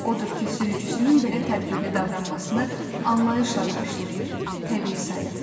Odur ki, sürücüsünün belə tədbirli davranmasını anlayışla qarşılayır, təbii sayırdı.